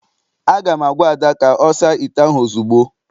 Aga m agwa Ada ka ọ saa ite ahụ ozugbo!